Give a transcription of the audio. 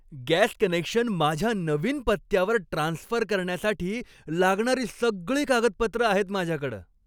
Gas connection माझ्या नवीन पत्त्यावर ट्रान्स्फर करण्यासाठी लागणारी सगळी कागदपत्रं आहेत माझ्याकडं.